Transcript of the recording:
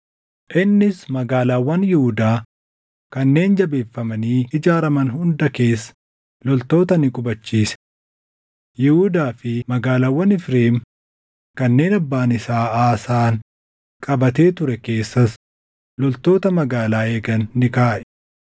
Innis magaalaawwan Yihuudaa kanneen jabeeffamanii ijaaraman hunda keessa loltoota ni qubachiise; Yihuudaa fi magaalaawwan Efreem kanneen abbaan isaa Aasaan qabatee ture keessas loltoota magaalaa eegan ni kaaʼe.